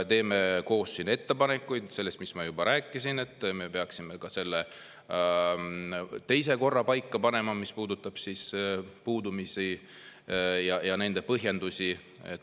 Teeme koos siin ettepanekuid selle kohta, mis ma juba rääkisin, et me peaksime ka selle teise korra paika panema, mis puudutab puudumisi ja nende põhjendusi.